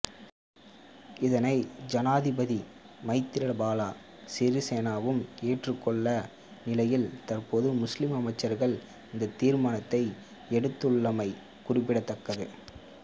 இதனை ஜனாதிபதி மைத்திரிபால சிறிசேனவும் ஏற்றுக்கொண்டுள்ள நிலையில் தற்போது முஸ்லிம் அமைச்சர்கள் இந்த தீர்மானத்தை எடுத்துள்ளமை குறிப்பிடத்தக்கது